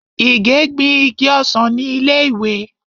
Ìgè gbin igi ọsàn ni ilé ìwé.